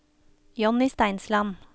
Johnny Steinsland